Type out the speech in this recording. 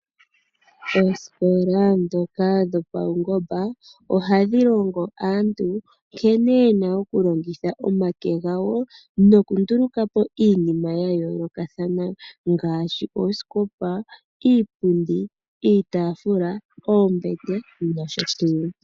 Omanongelo ngoka go pawungomba ohaga longo aantu nkene yena oku longitha omake gawo. Ohaya vulu oku nduluka po iinima ya yoolokathana ngaashi oosikopa, iipundi, iitafula, oombete nosho tuu.